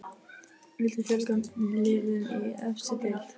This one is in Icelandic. Viltu fjölga liðum í efstu deild?